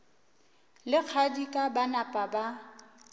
le kgadika ba napa ba